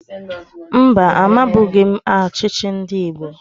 Mba, amabughi m ọchịchị ndị Igbo